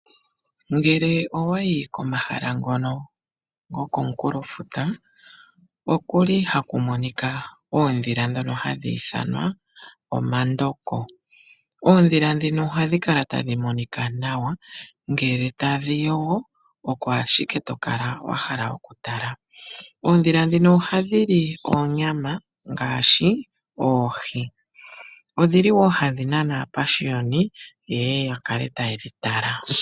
Ngele owayi komahala ngono gokomunkulofuta okuli haku monika oodhila dhoka hadhi ithanwa omandoko. Oodhila dhino ohadhi kala tadhi monika nawa, ngele tadhi yogo oko ashike to kala wahala okutala. Oodhili dhino ohadhi li oonyama ngaashi oohi, odhili wo hadhi nana aapashiwani ye ye yakale taye dhi tala.